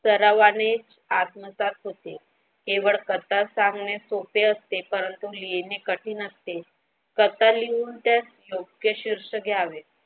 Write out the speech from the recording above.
सर्वांनी आत्मसात होते कथा सांगण्या सोपे असते परंतु लिहिणे कठीण असते कथा लिहून त्यात योग्य शीर्षक द्यावे.